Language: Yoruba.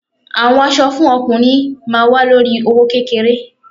Àwọn aṣọ fún ọkùnrin ma wa lórí i owó kékeré.